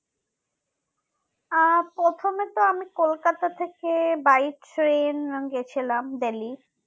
আহ প্রথমে তো আমি কলকাতা থেকে by train আমি গেছিলাম দিল্লি